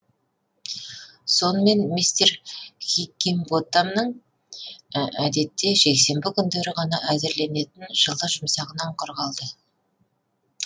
сонымен мистер хиггинботамның әдетте жексенбі күндері ғана әзірленетін жылы жұмсағынан құр қалды